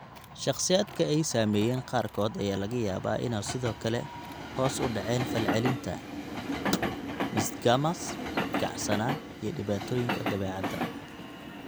Shakhsiyaadka ay saameeyeen qaarkood ayaa laga yaabaa inay sidoo kale hoos u dhaceen falcelinta (hyporeflexia); nystagmus; kacsanaan; iyo dhibaatooyinka dabeecadda.